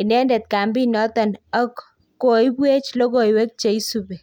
indendet kampit noton ak koibwech logoikwek che isubi